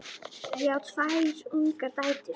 Ég á tvær ungar dætur.